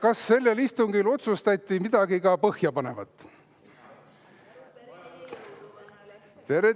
Kas sellel istungil otsustati ka midagi põhjapanevat?